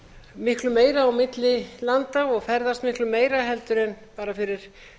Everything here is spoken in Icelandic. miklu meira á milli landa og ferðast miklu meira heldur en bara fyrir